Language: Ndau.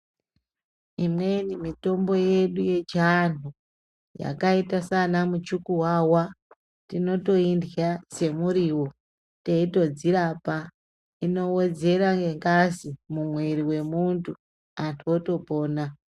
Imweni mitombo yedu yechianhu yakaita saana muchukuwawa tinotoirya semuriwo teitodzirapa, inowedzera nengazi mumwiri wemuntu, antu otopona.